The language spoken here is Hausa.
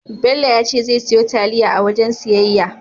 Bello ya ce zai siyo taliya a wajen siyayya.